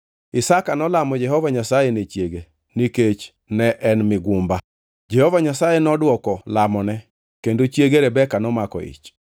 Isaka nolamo Jehova Nyasaye ne chiege, nikech en migumba. Jehova Nyasaye nodwoko lamone, kendo chiege Rebeka nomako ich.